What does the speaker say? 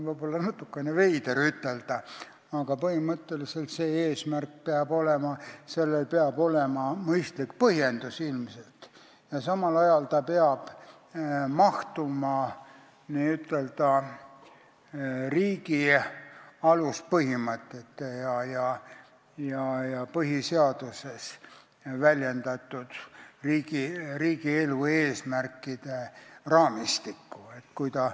Võib-olla on natukene veider nii ütelda, aga põhimõtteliselt on see selline eesmärk, millel peab ilmselt olema ka mõistlik põhjendus ja mis samal ajal peab mahtuma riigi aluspõhimõtete ja põhiseaduses väljendatud riigielu eesmärkide raamistikku.